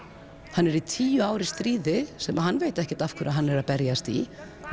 hann er í tíu ár í stríði sem hann veit ekkert af hverju hann er að berjast í